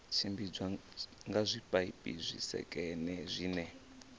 tshimbidzwa nga zwipaipi zwisekene zwine